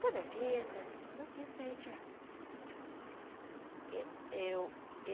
Toda a vida eu quis sair de lá.